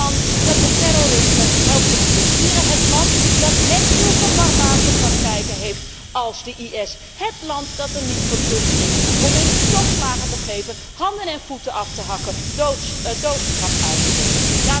Het land dat het terrorisme helpt te financieren, het land dat net zulke barbaarse praktijken heeft als de IS, het land dat er niet voor terugschrikt om mensen stokslagen te geven, handen en voeten af te hakken, doodstraffen uit te delen.